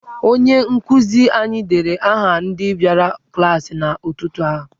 Onye nkụzi anyị deere aha ndị bịara klaasị n'ụtụtụ a.